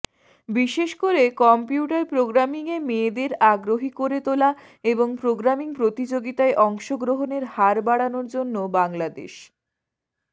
বিশেষকরে computer প্রোগ্রামিংয়ে মেয়েদের আগ্রহী করে তোলা এবং প্রোগ্রামিং প্রতিযোগিতায় অংশগ্রহণের হার বাড়ানোর জন্য বাংলাদেশ